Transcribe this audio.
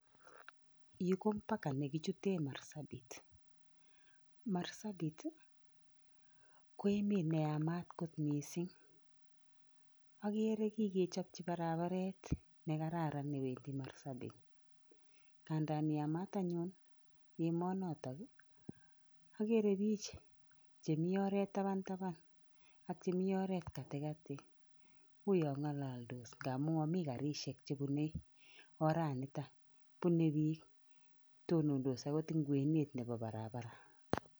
Yu ko mpaka nekichute Marsabit, Marsabit ii, ko emet ne yamat kot mising. Akere kikechopchi barabaret ne kararan ne wendi Marsabit, ngadan yamat anyun emonotok ii, akere pich che mi oret tabantaban ak chemi oret katikati, uyo ngalaldos ngamu garisiek chebune oranita, bune piik tonondos agot eng kwenet nebo barabara